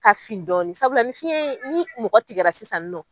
Ka fin dɔɔni sabula ni fiyɛn ye ni mɔgɔ tigɛra sisan.